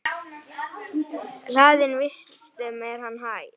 Hlaðinn vistum er hann æ.